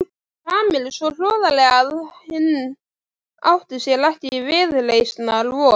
Kamillu svo hroðalega að hinn átti sér ekki viðreisnar von.